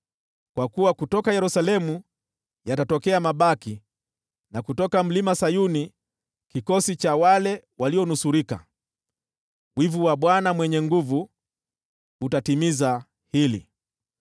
Kwa kuwa kutoka Yerusalemu watakuja mabaki, na kutoka Mlima Sayuni kundi la walionusurika. Wivu wa Bwana Mwenye Nguvu Zote, ndio utatimiza jambo hili.